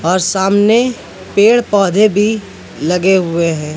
और सामने पेड़ पौधे भी लगे हुए हैं।